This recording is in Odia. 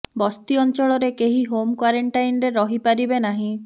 ବସ୍ତି ଅଞ୍ଚଳରେ କେହି ହୋମ କ୍ବାରଣ୍ଟାଇନ ରହି ପାରିବେ ନାହିଁ